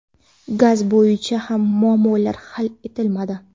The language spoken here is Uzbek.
Gaz bo‘yicha ham muammolar hal etilmadi.